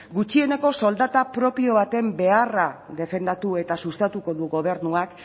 gutxieneko soldata propio baten beharra defendatu eta sustatuko du gobernuak